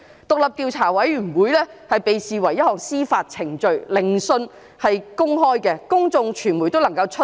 獨立調查委員會被視為一項司法程序，聆訊是公開的，公眾和傳媒都能夠出席。